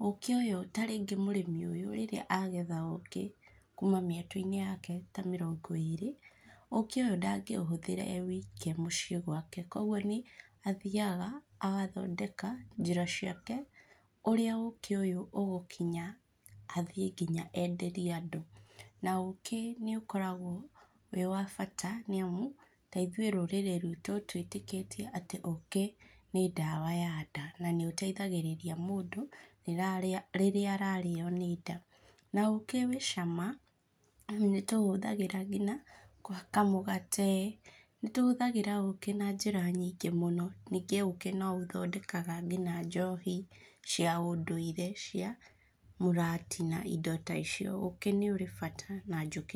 ũkĩ ũyũ tarĩngĩ rĩrĩa mũrĩmi ũyũ rĩrĩa agetha kuma mĩetũ-inĩ yake ta mĩrongo ĩrĩ, ũkĩ ũyũ ndangĩũhũthĩra e wike mũciĩ gwake kũoguo nĩ athiaga agathondeka njĩra ciake ũrĩa ũkĩ ũyũ ũgũkinya athiĩ nginya enderie andũ na ũkĩ nĩ ũkoragwo wĩ wa bata taithuĩ rũrĩrĩ ruitũ twĩtĩkĩtie atĩ ũki nĩ ndawa ya nda na nĩũteithagĩrĩri mũndũ rĩrĩa arario nĩnda, na ũkĩ wĩ cama nĩtũũhũthagĩra nginya kũhaka mũgate, nĩtũhũthagĩra ũkĩ na njĩra nyingĩ mũno. Ningĩ ũkĩ nĩ ũthondekaga ngina njohi cia ũndũire, cia mũratina na indo ta icio. Ũkĩ nĩ ũrĩ bata na njũkĩ.